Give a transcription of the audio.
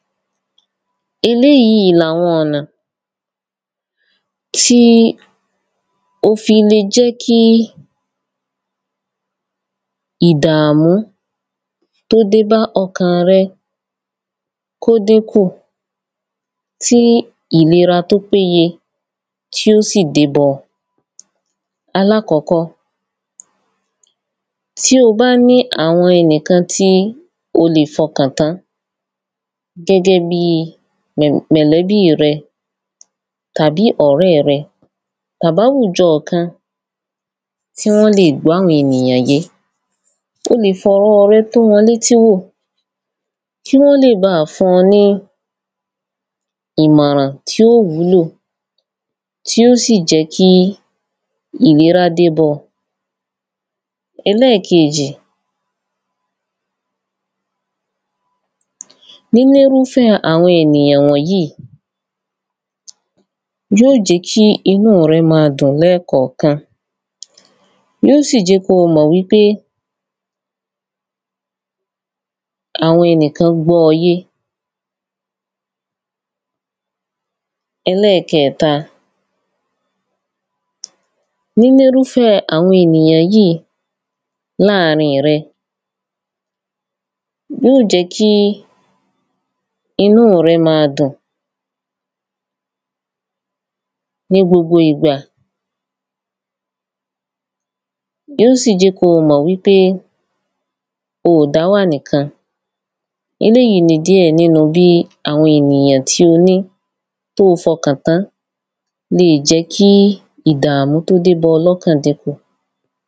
eléyìí i ni àwọn ọ̀nà tí ó fi le jẹ́kí ìdàmú tó dé bá ọkàn rẹ kó dínkù, tí ìlera tó péye tí ó sì dé bá ọ. alákọ́kọ́, tí o bá ní àwọn ẹnìkan tí ó lè fọkàn tán, gẹ́gẹ́ bíi mọ̀lẹ́bíi rẹ, tàbí ọ̀rẹ́ẹ̀ rẹ, tàbáwùjọ kan tí wọ́n lè gbọ́ àwọn ènìyàn yé. o lè fọ̀rọọ̀ rẹ tó wọn létí wò, kí wọ́n lè baà fún ọ ní ìmọ̀ràn tí ó wúlò, tí ó sì jẹ́ kí ìlerá dé bọ́ ọ. ẹlẹ́keèjì, nínírúfẹ́ àwọn ènìyàn wọ̀nyíi, yíó jẹ́ kí inú rẹ́ ma dùn lẹ́ẹ̀kànkan. yíó sì jẹ́ kí ó mọ̀ pé àwọn ẹnìkán gbọ́ ọ yé. ẹlẹ́kẹẹ̀ta, nínírúfẹ́ àwọn ènìyàn yíì í láàrin rẹ, yíò jẹ́ kí inú rẹ máa dùn ní gbogbo ìgbà yíó sì jẹ́ kó o mọ̀ wípé oò dáwà nìkan. eléyìí ni díẹ̀ nínu bí àwọn ènìyàn tí o ni, tó o fọkàn tán leè jẹ́ kí ìdàmú tó dé bọ́ ọ lọ́kàn dínkù.